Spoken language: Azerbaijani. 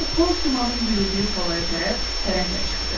O boz dumanın bürüdüyü talaya tərəf fərəhlə çıxdı.